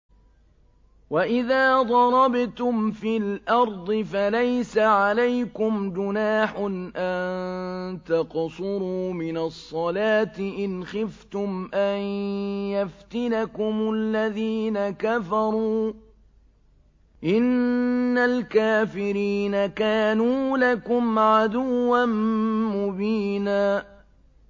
وَإِذَا ضَرَبْتُمْ فِي الْأَرْضِ فَلَيْسَ عَلَيْكُمْ جُنَاحٌ أَن تَقْصُرُوا مِنَ الصَّلَاةِ إِنْ خِفْتُمْ أَن يَفْتِنَكُمُ الَّذِينَ كَفَرُوا ۚ إِنَّ الْكَافِرِينَ كَانُوا لَكُمْ عَدُوًّا مُّبِينًا